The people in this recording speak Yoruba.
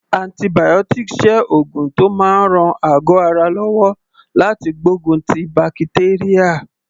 Antibiotics jẹ́ oògùn tó máa ń ran àgọ́ ara lọ́wọ́ láti gbógun ti bakitérà.